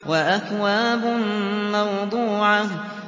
وَأَكْوَابٌ مَّوْضُوعَةٌ